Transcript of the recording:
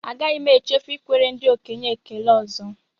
Agaghị m echefu ikwere ndị okenye ekele ọzọ